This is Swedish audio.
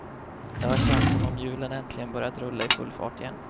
Det har känts som om hjulen äntligen börjat rulla i full fart igen.